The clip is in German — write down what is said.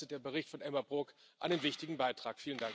Dazu leistet der Bericht von Elmar Brok einen wichtigen Beitrag.